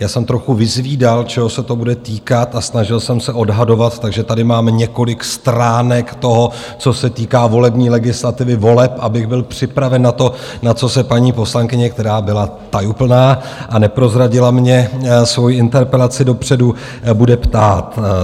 Já jsem trochu vyzvídal, čeho se to bude týkat, a snažil jsem se odhadovat, takže tady mám několik stránek toho, co se týká volební legislativy, voleb, abych byl připraven na to, na co se paní poslankyně, která byla tajuplná a neprozradila mně svoji interpelaci dopředu, bude ptát.